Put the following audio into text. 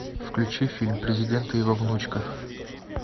включи фильм президент и его внучка